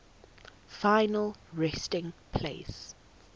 final resting place